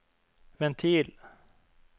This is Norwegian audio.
ventil